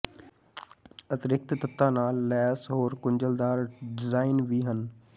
ਅਤਿਰਿਕਤ ਤੱਤਾਂ ਨਾਲ ਲੈਸ ਹੋਰ ਗੁੰਝਲਦਾਰ ਡਿਜ਼ਾਈਨ ਵੀ ਹਨ